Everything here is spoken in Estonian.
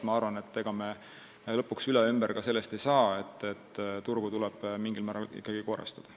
Ma arvan, et ega ei saa lõpuks üle ega ümber sellest, et turgu tuleb mingil määral ikkagi korrastada.